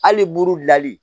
Hali buru gilanli